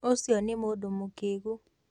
Ũcio nĩ mũndũ mũkĩĩgu.